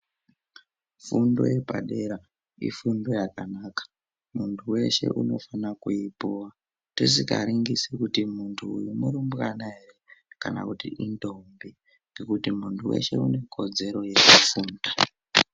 Fundo yepadera ifundo yakanaka muntu weshe unofana kuipuwa tisingaringisi kuti muntu uyu murumbwana ere kana kuti indombi ngekuti muntu weshe unekodzero yekufunda